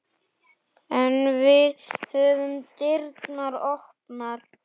En við höfum dyrnar opnar